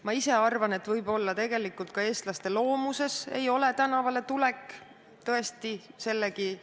Ma ise arvan, et võib-olla ei ole tänavale tulek tegelikult ka eestlaste loomuses.